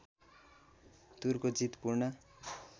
टुरको जित पूर्ण